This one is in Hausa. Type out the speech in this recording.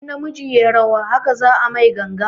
In na miji yayi rawa haka za a mai ganga